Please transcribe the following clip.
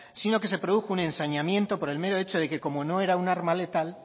sino que se produjo un ensañamiento por el mero hecho de que como o era un arma letal